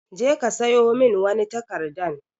Je ka siyo wani takarɗan.